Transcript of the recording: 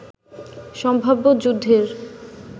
সম্ভাব্য যুদ্ধের